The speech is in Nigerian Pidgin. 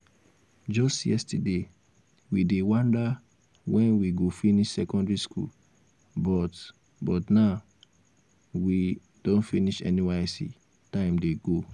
just yesterday we dey wonder when we go finish secondary school but but now we don finish nysc time dey go